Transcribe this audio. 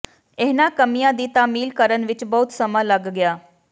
ਇਹਨਾਂ ਕਮੀਆਂ ਦੀ ਤਾਮੀਲ ਕਰਨ ਵਿੱਚ ਬਹੁਤ ਸਮਾਂ ਲੱਗ ਗਿਆ